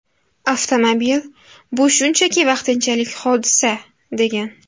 Avtomobil bu shunchaki vaqtinchalik hodisa”, degan.